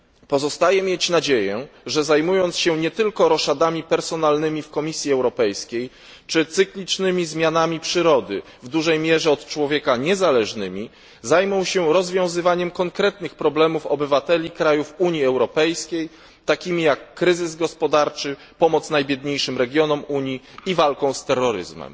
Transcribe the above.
Pozostaje mieć nadzieję, że zajmując się nie tylko roszadami personalnymi w Komisji Europejskiej, czy cyklicznymi zmianami przyrody w dużej mierze od człowieka niezależnymi, zajmą się oni rozwiązywaniem konkretnych problemów obywateli krajów Unii Europejskiej, takich jak kryzys gospodarczy, pomoc najbiedniejszym regionom Unii i walka z terroryzmem.